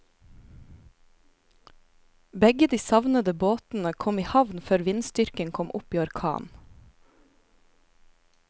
Begge de savnede båtene kom i havn før vindstyrken kom opp i orkan.